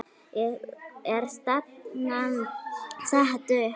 Er stefnan sett upp?